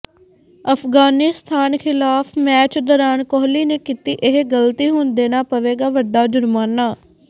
ਅਫ਼ਗਾਨਿਸਤਾਨ ਖ਼ਿਲਾਫ਼ ਮੈਚ ਦੌਰਾਨ ਕੋਹਲੀ ਨੇ ਕੀਤੀ ਇਹ ਗ਼ਲਤੀ ਹੁਣ ਦੇਣਾ ਪਵੇਗਾ ਵੱਡਾ ਜ਼ੁਰਮਾਨਾ